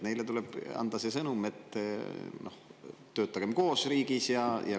Neile tuleb anda sõnum, et töötagem riigis koos.